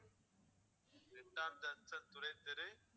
ரெண்டாம் ஜங்ஷன் துறை தெரு